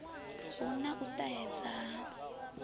hu na u ṱahedza ha